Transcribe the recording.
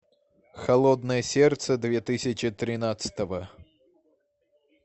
холодное сердце две тысячи тринадцатого